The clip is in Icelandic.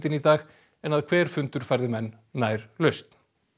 í dag en að hver fundur færði menn nær lausn